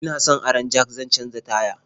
Ina son aron jak zan canja taya.